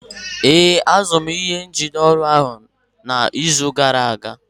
Ee, azụrụ m ihe njide oriọna n'izu gara aga